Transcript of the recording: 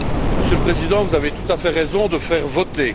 Monsieur le Président, vous avez tout à fait raison de procéder au vote.